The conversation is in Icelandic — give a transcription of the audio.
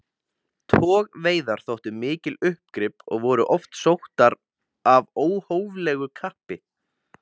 Togveiðar þóttu mikil uppgrip og voru oft sóttar af óhóflegu kappi.